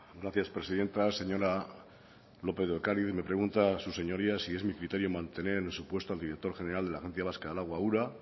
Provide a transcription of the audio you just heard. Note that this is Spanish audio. gracias presidenta señora lópez de ocariz me pregunta su señoría si es mi criterio mantener en su puesto al director general de la agencia vasca del agua ura